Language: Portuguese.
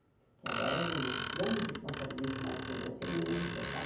Porque agora eu não não me responsabilizo mais por você, nem eu, nem o seu pai.